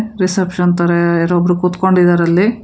Reception ತರ ಯಾರೋ ಒಬ್ರು ಕೂತುಕೊಂಡಿದ್ದಾರೆ ಅಲ್ಲಿ.